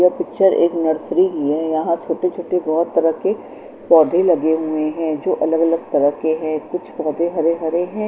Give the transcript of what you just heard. ये पिक्चर एक नर्सरी की है यहाँ छोटे छोटे बहत सारा के पौधे लगे हुए हैं जो अलग अलग तरह के है कुछ पौधे हरे हरे हैं।